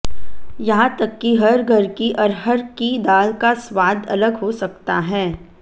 यहां तक कि हर घर की अरहर की दाल का स्वाद अलग हो सकता है